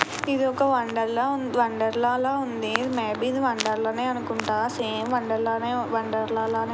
ఇది ఒక వండర్లా వండర్లా ఉంది. మే బీ వండర్లా లానే అనుకుంటా. సేమ్ వండర్లా లా వండర్లా లానే ఉంది.